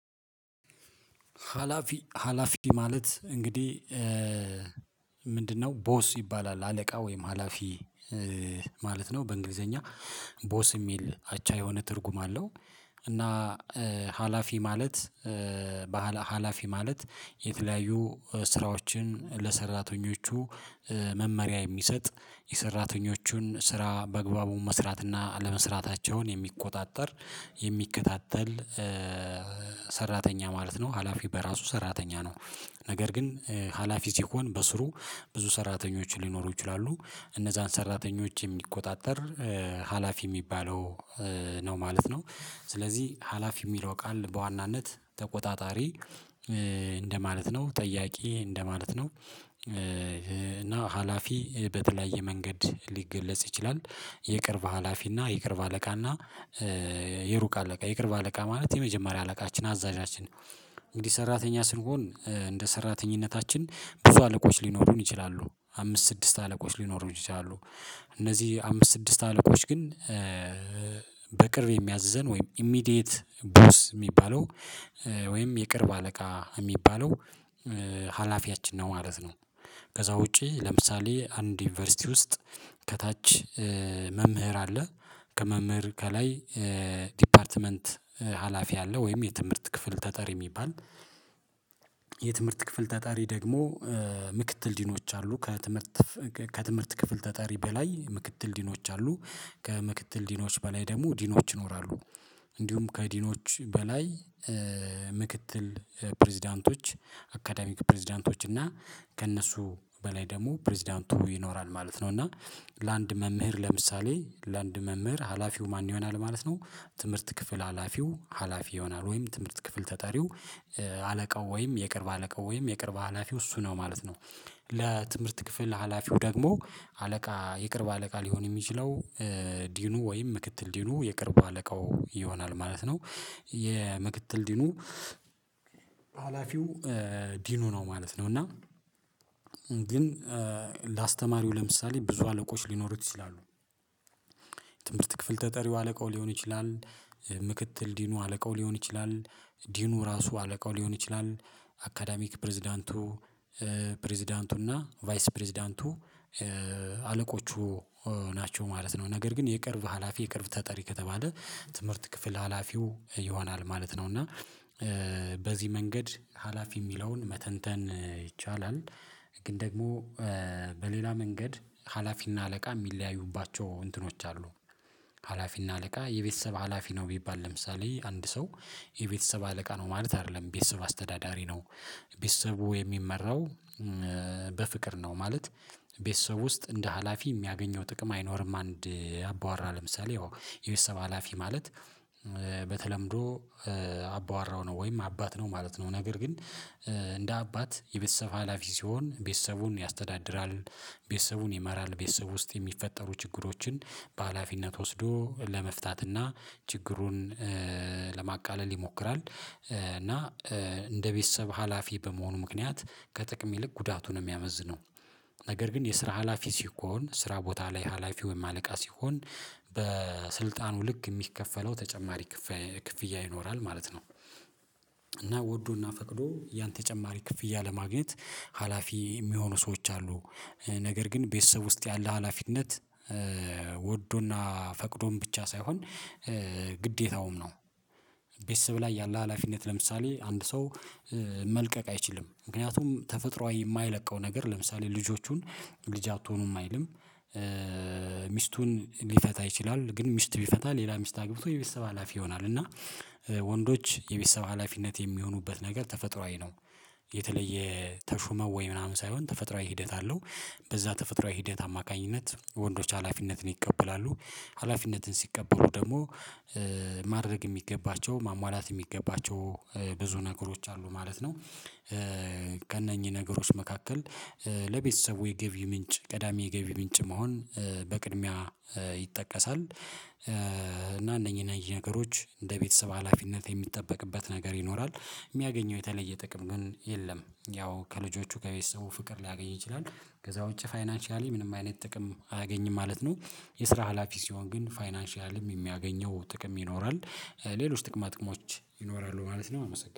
ሀላፊ ሀላፊ ማለት እንግዲህ ምንድነው ቦስ ይባላል አለቃ ወይም ሀላፊ ማለት ነው በእንግሊዘኛ ቦስ የሚል አቻ የሆነ ትርጉም አለው። እና ሀላፊ ማለት የተለያዩ ስራዎችን ለሰራተኞቹ መመሪያ የሚሰጥ፤ የሰራተኞቹን ስራ በአግባቡን መስራት አነ አለመስራታቸውን፤ የሚቆጣጠር የሚከታተል ሰራተኛ ማለት ነው። ሀላፊ በራሱ ሰራተኛ ነው። ነገር ግን ሀላፊ ሲኮን በስሩ ብዙ ሰራተኞችን ሊኖሩ ይችላሉ። እነዛን ሰራተኞች የሚቆጣጠር ሀላፊ የሚባለው ነው ማለት ነው። ስለዚህ ሀላፊ የሚለው ቃል በዋናነት ተቆጣጣሪ እንደማለት ነው። ጠያቂ እንደማለት ነው። እና ሀላፊ በተለያየ መንገድ ሊገለጽ ይችላል የቅርብ ሀላፊ የቅርብ አለቃና የሩቅ አለቃ፤ የቅርብ አለቃ ማለት የመጀመሪያ አለቃችን፤ አዛዣችን እንግዲህ ሰራተኛ ስንሆን እንደ ሰራተኝነታችን ብዙ አለቆች ሊኖሩን ይችላሉ። አምስት ስድስት አለቆች ሊኖሩን ይችላሉ። እነዚህ አምስት ስድስት አለቆች ግን በቅርብ የሚያዘን ወይም ኢሚዲየት ቦስ የሚባለው ወይም የቅርብ አለቃ የሚባለው ሀላፊያችን ነው ማለት ነው። ከዛ ውጪ ለምሳሌ አንድ ዩኒቨርሲቲ ውስጥ ከታች መምህር አለ። ከመምህር ከላይ ዲፓርትመንት ሀላፊ አለ። ወይም የትምህርት ክፍል ተጠሪ የሚባል፤ የትምህርት ክፍል ተጣሪ ደግሞ ምክትል ዲኖች አሉ። ከትምህርት ከትምህርት ክፍል ተጣሪ በላይ ምክትል ዲኖች አሉ። ከምክትል ዲኖች በላይ ደግሞ ዲኖች ይኖራሉ። እንዲሁም ከአዲኖች በላይ ምክትል ፕሬዝዳንቶች አካዳሚክ ፕሬዝዳንቶች እና ከእነሱ በላይ ደግሞ ፕሬዝዳንቱ ይኖራል ማለት ነው። እና ለአንድ መምህር ለምሳሌ ለአንድ መምህር ሀላፊው ማን ይሆናል ማለት ነው፤ ትምህርት ክፍል ሀላፊው ሀላፊ ይሆናል። ወይም ትምህርት ክፍል ተጠሪው አለቃው ወይም የቅርብ አለቃው ወይም የቅርብ ሀላፊው እሱ ነው ማለት ነው። ለትምህርት ክፍል ሀላፊው ደግሞ አለቃ የቅርብ አለቃ ሊሆን የሚችለው ዲኑ ወይም ምክትል ዲኑ የቅርብ አለቃው ይሆናል ማለት ነው። የምክትል ዲኑ ሀላፊው ዲኑ ነው ማለት ነው። እና ግን ለአስተማሪው ለምሳሌ ብዙ አለቆች ሊኖሩት ይችላሉ። ትምህርት ክፍል ተጠሪው አለቃው ሊሆን ይችላል። ምክትል ዲኑ አለቃው ሊሆን ይችላል። ዲኑ ራሱ አለቃው ሊሆን ይችላል። አካዳሚክ ፕሬዝዳንቱ ፕሬዝዳንቱና ቫይስ ፕሬዝዳንቱ አለቆቹ ናቸው ማለት ነው። ነገር ግን የቅርብ ሀላፊ የቅርብ ተጠሪ ከተባለ ትምህርት ክፍል ሀላፊው ይሆናል ማለት ነው። እና በዚህ መንገድ ሀላፊ የሚለውን መተንተን ይቻላል። ግን ደግሞ በሌላ መንገድ ሀላፊና አለቃ የሚለያዩባቸው እንትኖች አሉ። ሀላፊና አለቃ የቤተሰብ ሀላፊ ነው ቢባል፤ ለምሳሌ አንድ ሰው የቤተሰብ አለቃ ነው ማለት አይደለም። የቤተሰብ አስተዳዳሪ ነው። ቤተሰቡ የሚመራው በፍቅር ነው ማለት፤ ቤተሰብ ውስጥ እንደ ሀላፊ የሚያገኘው ጥቅም አይኖርም። አንድ አቧራ ለምሳሌ የቤተሰብ ሀላፊ ማለት በተለምዶ አባውራው ነው ወይም አባት ነው ማለት ነው። ነገር ግን እንደ አባት የቤተሰብ ሀላፊ ሲሆን ቤተሰቡን ያስተዳድራል ቤተሰቡን ይመራል። ቤተሰብ ውስጥ የሚፈጠሩ ችግሮችን በሃላፊነት ወስዶ ለመፍታትና ችግሩን ለማቃለል ይሞክራል። እና እንደ ቤተሰብ ሀላፊ በመሆኑ ምክንያት ከጥቅም ይልቅ ጉዳቱን ነው የሚያመዝነው። ነገር ግን የስራ ሀላፊ ሲኮን ስራ ቦታ ላይ ሀላፊ ወይም አለቃ ሲሆን በስልጣኑ ልክ የሚከፈለው ተጨማሪ ክፍያ ይኖራል ማለት ነው። እና ወዶና ፈቅዶ ያን ተጨማሪ ክፍያ ለማግኘት ሀላፊ የሚሆኑ ሰዎች አሉ። ነገር ግን ቤተሰብ ውስጥ ያለ ሀላፊነት ወዶና ፈቅዶም ብቻ ሳይሆን ግዴታውም ነው። ቤተሰብ ላይ ያለ ሀላፊነት ለምሳሌ አንድ ሰው መልቀቅ አይችልም ምክንያቱም ተፈጥሮአዊ የማይለቀው ነገር ለምሳሌ ልጆቹን ልጅ አትሆኑም አይልም። ሚስቱን ሊፈታ ይችላል። ግን ሚስት ቢፈታ ሌላ ሚስት አግብቶ የቤተሰብ ሀላፊ ይሆና፤ እና ወንዶች የቤተሰብ ሀላፊነት የሚሆኑበት ነገር ተፈጥሮአዊ ነው። የተለየ ተሹመው ወይ ምናምን ሳይሆን ተፈጥሮአዊ ሂደት አለው። በዛ ተፈጥሮአዊ ሂደት አማካኝነት ወንዶች ሀላፊነትን ይቀበላሉ። ሀላፊነትን ሲቀበሉ ደግሞ ማድረግ የሚገባቸው ማሟላት የሚገባቸው ብዙ ነገሮች አሉ ማለት ነው። ከእነኚህ ነገሮች መካከል ለቤተሰቡ የገቢ ምንጭ ቀዳሚ የገቢ ምንጭ መሆን በቅድሚያ ይጠቀሳል። እና እነኚህ ነገሮች እንደ ቤተሰብ ሀላፊነት የሚጠበቅበት ነገር ይኖራል። የሚያገኘው የተለየ ጥቅም ግን የለም፤ ያው ከልጆቹ ከቤተሰቡ ፍቅር ሊያገኝ ይችላል። ከዛ ውጪ ፋይናንሻሊ ምንም አይነት ጥቅም አያገኝም ማለት ነው። የስራ ሀላፊ ሲሆን ግን ፋይናንሻልም የሚያገኘው ጥቅም ይኖራል። ሌሎች ጥቅማ ጥቅሞች ይኖራሉ ማለት ነው አመሰግናለሁ።